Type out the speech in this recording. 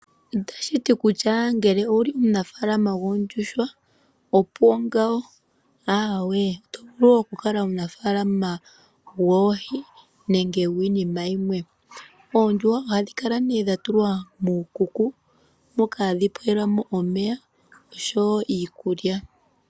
Itashiti kutya ngele owuli omunafaalama goondjuhwa opuwo ngawo, aawe, oto vulu oku kala omunafaalana goohi nenge gwiinima yimwe. Oondjuhwa ohadhi kala nee dhatulwa muukuku moka hadhi pewelwamo omeya nosho wo iikulya.